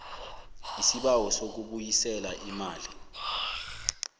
lsibawo sokubuyisela imali